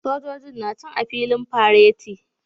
Sojojin na can a filin fareti